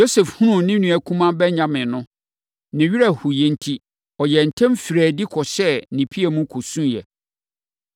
Yosef hunuu ne nua kumaa Benyamin no, ne werɛ hoeɛ enti, ɔyɛɛ ntɛm firii adi kɔhyɛɛ ne piam, kɔsuiɛ.